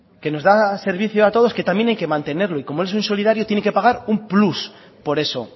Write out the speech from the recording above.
que nos da servicio a todos que también hay que mantenerlo y como es insolidario tiene que pagar un plus por eso